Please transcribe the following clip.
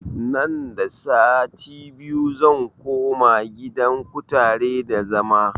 Nan da wani sati zan koma gidan kutare da zama